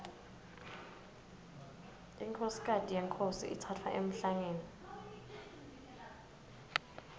inkhosikati yenkhosi itsatfwa emhlangeni